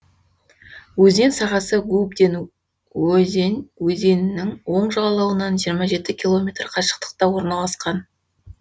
өзен сағасы губден озень өзенінің оң жағалауынан жиырма жеті километр қашықтықта орналасқан